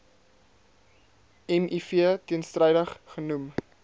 miv teenstrydig genoem